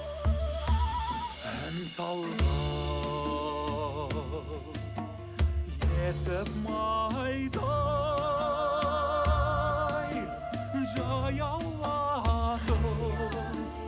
ән салған есіп майдай жаяулатып